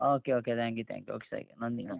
Okay, okay thank you, thank you. Okay thank you നന്ദി, നന്ദി.